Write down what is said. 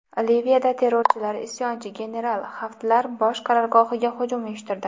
Liviyada terrorchilar isyonchi general Xaftar bosh qarorgohiga hujum uyushtirdi.